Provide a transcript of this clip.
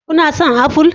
Kuna son aful?